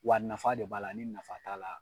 Wa nafa de b'a la , ni nafa t'a la